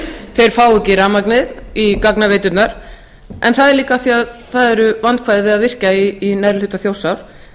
þeir fái ekki rafmagnið í gagnaveiturnar en það er líka af því að það eru vandkvæði að virkja í neðri hluta þjórsár